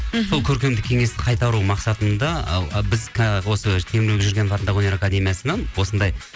сол көркемдік кеңесті қайтару мақсатында ы біз ы осы темірбек жүргенов атындағы өнер академиясынан осындай